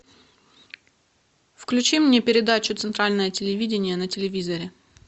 включи мне передачу центральное телевидение на телевизоре